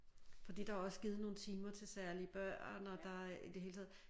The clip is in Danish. Fordi der er også givet nogle timer til særlige børn og der er i det hele taget